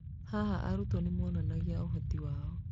Haha, arutwo nĩ monanagia ũhoti wao.